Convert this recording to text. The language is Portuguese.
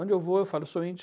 Onde eu vou, eu falo sou índio.